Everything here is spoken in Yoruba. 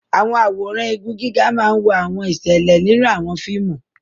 Àwọn àwòrán igun gíga máa ń wo àwọn ìṣẹ̀lẹ̀ nínú àwọn fíìmù.